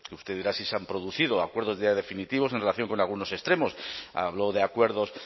usted dirá si se han producido acuerdos ya definitivos en relación con algunos extremos habló de acuerdos